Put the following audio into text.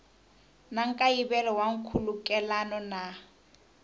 na nkayivelo wa nkhulukelano na